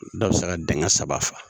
Dɔ bɛ se ka denkɛ saba